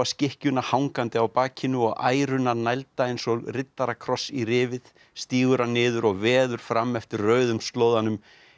skikkjuna hangandi á bakinu og æruna nælda eins og riddarakross í rifið stígur hann niður og veður fram eftir rauðum slóðanum